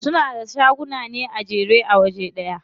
Suna da shaguna ne a jere a waje ɗaya.